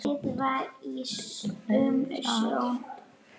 Kryddað til með salti.